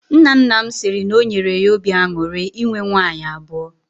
Nna nna m siri na o nyere ya obi aṅụrị inwe nwaanyị abụọ.